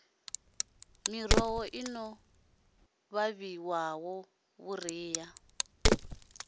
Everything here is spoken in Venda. miroho i no ṱavhiwa vhuriha